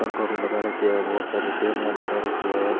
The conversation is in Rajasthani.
पंखाे भी लगा रखयो है बहोत सारी टेबला लगा रखी है।